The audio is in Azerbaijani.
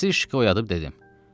Nasiri oyadıb dedim.